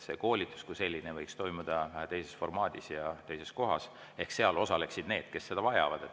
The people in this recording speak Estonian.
See koolitus kui selline võiks toimuda teises formaadis ja teises kohas ehk seal osaleksid need, kes seda vajavad.